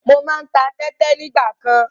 Mo máa ń ta tẹ́tẹ nígbàkan.